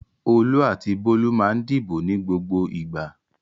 Olú àti Bólú máa ń dìbò ní gbogbo ìgbà.